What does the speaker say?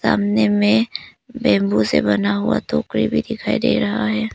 सामने में बंबू से बना हुआ टोकरी भी दिखाई दे रहा है।